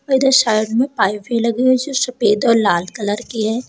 Side में pipe भी लगी है जो सफेद और लाल कलर की है।